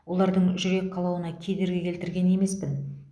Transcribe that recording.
олардың жүрек қалауына кедергі келтірген емеспін